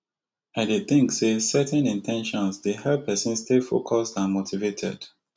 i dey think say setting in ten tions dey help pesin stay focused and motivated